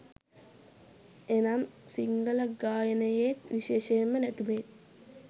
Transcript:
එනම් සිංහල ගායනයේත්, විශේෂයෙන්ම නැටුමේත්